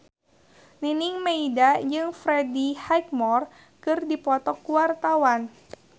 Nining Meida jeung Freddie Highmore keur dipoto ku wartawan